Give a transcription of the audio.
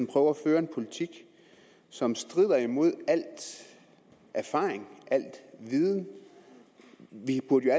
prøver at føre en politik som strider imod al erfaring al viden vi burde jo